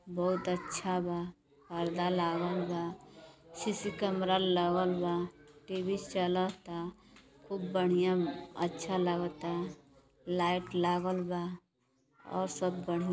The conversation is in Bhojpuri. बहोत अच्छा बा। पर्दा लागल बा। सीसी कैमरा लागल बा। टीवी चलता। खूब बढ़ियाँ अ अच्छा लागता। लाइट लागल बा और सब बढ़ियाँ --